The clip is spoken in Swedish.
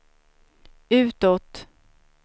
utåt